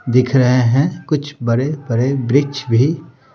दिख रहे हैं कुछ बड़े-बड़े वृक्ष भी --